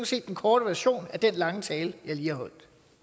set den korte version af den lange tale jeg lige har holdt